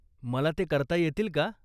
मला ते करता येतील का?